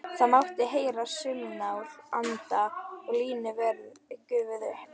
Það mátti heyra saumnál anda og línuverðirnir gufuðu upp.